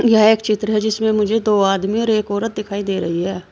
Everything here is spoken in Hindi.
यह एक चित्र है जिसमें मुझे दो आदमी और एक औरत दिखाई दे रही है।